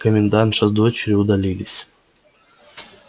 комендантша с дочерью удалились